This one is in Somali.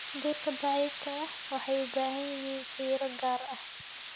Dhirta daciifka ah waxay u baahan yihiin fiiro gaar ah.